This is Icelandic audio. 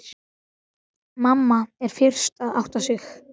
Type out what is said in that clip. Mamma er fyrst að átta sig: